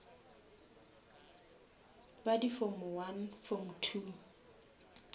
ba di form form